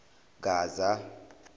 gaza